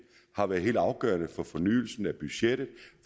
har været helt afgørende for fornyelsen af budgettet og